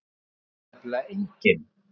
Það veit nefnilega enginn.